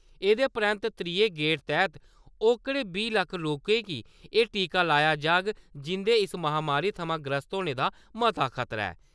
एह्दे परैंत्त त्रीये गेड़ तैह्त ओकड़े बीह् लक्ख लोकें गी एह् टीका लाया जाह्ग जिं'दे इस महामारी थमां ग्रस्त होने दा मता खतरा ऐ।